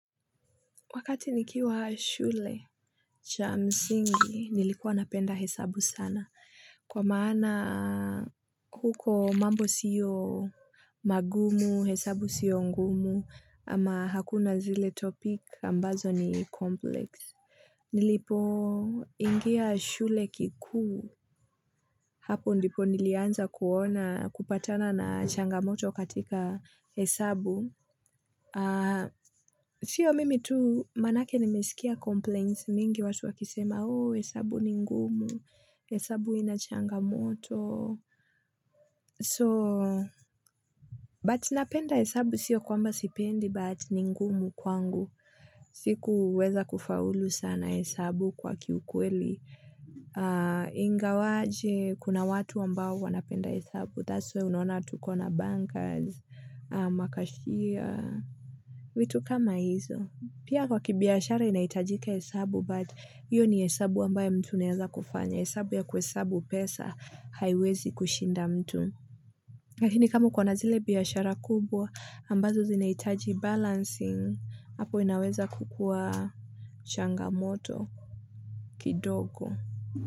Wakati nikiwa shule cha msingi, nilikuwa napenda hesabu sana. Kwa maana huko mambo sio magumu, hesabu sio ngumu, ama hakuna zile topic ambazo ni complex. Nilipoingia shule kikuu, hapo ndipo nilianza kuona kupatana na changamoto katika hesabu. Sio mimi tu manake nimesikia complaints mingi watu wakisema oh hesabu ni ngumu hesabu inachangamoto so but napenda hesabu sio kwamba sipendi but ni ngumu kwangu sikuweza kufaulu sana hesabu kwa kiukweli ingawaje kuna watu ambao wanapenda hesabu that's why unona tuko na bankas makashia vitu kama hizo. Pia kwa kibiashara inahitajika hesabu but hiyo ni hesabu ambayo mtu unaweza kufanya, hesabu ya kuhesabu pesa haiwezi kushinda mtu lakini kama uko na zile biashara kubwa ambazo zinahitaji balancing hapo inaweza kukuwa changamoto kidogo.